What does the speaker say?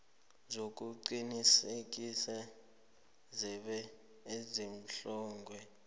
zokuqinisekisa zebee ezihlonywe